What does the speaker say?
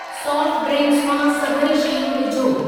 Soft drinks मां सभई शयूं विझो।